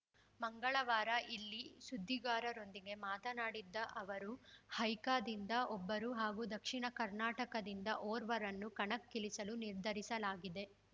ಮಂಗಳವಾರ ಇಲ್ಲಿ ಸುದ್ದಿಗಾರರೊಂದಿಗೆ ಮಾತನಾಡಿದ್ದ ಅವರು ಹೈಕ ದಿಂದ ಒಬ್ಬರು ಹಾಗೂ ದಕ್ಷಿಣ ಕರ್ನಾಟಕದಿಂದ ಓರ್ವರನ್ನು ಕಣಕ್ಕಿಳಿಸಲು ನಿರ್ಧರಿಸಲಾಗಿದೆ